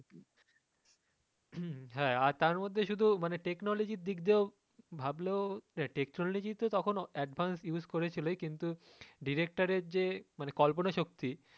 হুম হ্যাঁ আর তার মধ্যে শুধু technology র দিক দিয়েও ভাবলেও technology তো তখন advance use করে ছিলই কিন্তু director এর যে কল্পনা শক্তি,